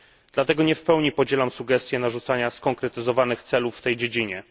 Dlatego nie w pełni podzielam sugestię narzucania konkretnych celów w tej dziedzinie.